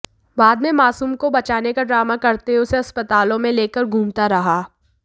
बाद में मासूम को बचाने का ड्रामा करते हुए उसे अस्पतालों में लेकर घूमता रहा